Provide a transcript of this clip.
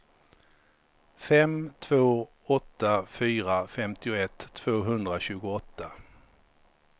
fem två åtta fyra femtioett tvåhundratjugoåtta